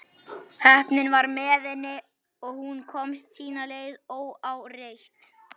Heppnin var með henni og hún komst sína leið óáreitt.